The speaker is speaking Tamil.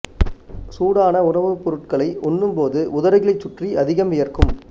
சூடான உணவுப் பொருட்களை உண்ணும் போது உதடுகளைச் சுற்றி அதிகம் வியர்க்கும்